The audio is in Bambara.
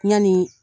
Yani